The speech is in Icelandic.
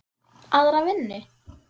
Aðra vinnu?